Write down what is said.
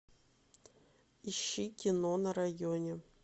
ищи кино на районе